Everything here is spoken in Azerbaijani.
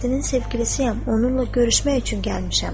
Fəxrəddinin sevgilisiyəm, onunla görüşmək üçün gəlmişəm.